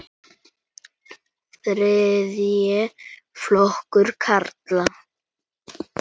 Þriðji flokkur karla.